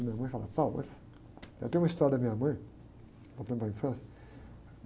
Minha mãe falava, mas... Eu tenho uma história da minha mãe, voltando para a minha infância.